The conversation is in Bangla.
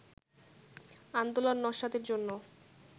আন্দোলন নস্যাতের জন্য